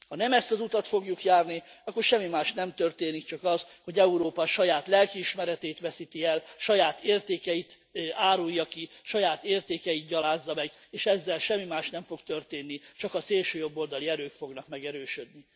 Ha nem ezt az utat fogjuk járni, akkor semmi más nem történik, csak az, hogy Európa a saját lelkiismeretét veszíti el, saját értékeit árulja ki, saját értékeit gyalázza meg, és ezzel semmi más nem fog történni, csak a szélsőjobboldali erők fognak megerősödni.